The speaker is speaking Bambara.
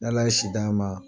N'Ala ye si d'an ma.